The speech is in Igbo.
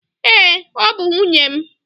Ee, ọ bụ nwunye m.